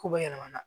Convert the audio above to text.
Ko bɛɛ yɛlɛmana